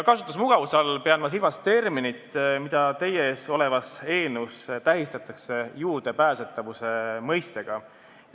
Kasutusmugavuse all pean ma silmas mõistet, mida teie ees olevas eelnõus tähistatakse juurdepääsetavuse terminiga.